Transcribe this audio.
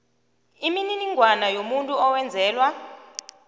imininingwana yomuntu owenzelwa